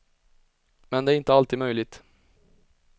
Men det är inte alltid möjligt.